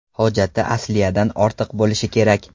Hojati asliyadan ortiq bo‘lishi kerak.